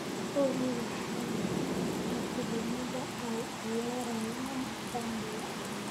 olly waxa filimada ay ciyaarayaan Zambia